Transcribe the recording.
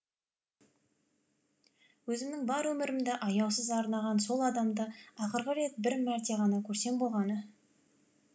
өзімнің бар өмірімді аяусыз арнаған сол адамды ақырғы рет бір мәрте ғана көрсем болғаны